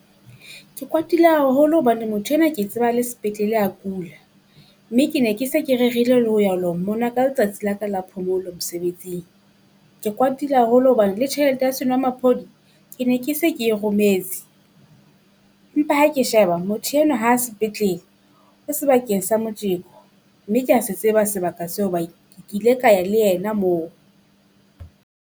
Ke kwatile haholo hobane motho enwa ke tseba a le sepetlele a kula, mme ke ne ke se ke rerile le ho ya ho lo mmona ka letsatsi la ka la phomolo mosebetsing. Ke kwatile haholo hobane le tjhelete ya senwamaphodi ke ne ke se ke e rometse. Empa ha ke sheba motho enwa ha sepetlele o sebakeng sa motjeko mme kea tseba sebaka seo hoba ke kile ka ya le ena moo.